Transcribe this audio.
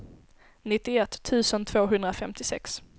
nittioett tusen tvåhundrafemtiosex